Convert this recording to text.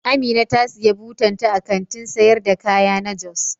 Amina ta siya butan ta a Kantin sayar da kaya na jos.